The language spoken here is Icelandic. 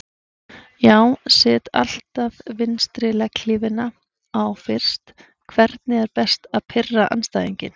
Já set alltaf vinstri legghlífina á fyrst Hvernig er best að pirra andstæðinginn?